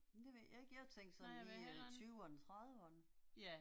Det ved jeg ikke, jeg tænkte sådan i tyverne trediverne